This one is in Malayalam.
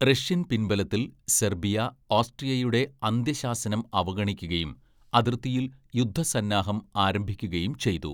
റഷ്യൻ പിൻബലത്തിൽ സെർബിയ ഓസ്ട്രിയയുടെ അന്ത്യശാസനം അവഗണിക്കുകയും അതിർത്തിയിൽ യുദ്ധസന്നാഹം ആരംഭിക്കുകയും ചെയ്തു.